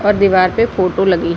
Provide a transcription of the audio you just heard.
और दीवार पे फोटो लगी --